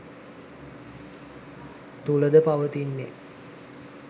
තුළද පවතින්නේ